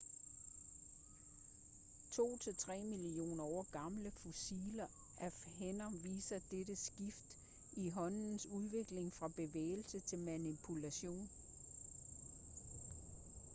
to til tre millioner år gamle fossiler af hænder viser dette skift i håndens udvikling fra bevægelse til manipulation